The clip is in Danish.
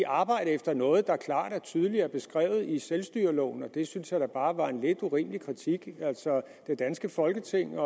arbejde efter noget der klart og tydeligt er beskrevet i selvstyreloven og det synes jeg da bare var en lidt urimelig kritik altså det danske folketing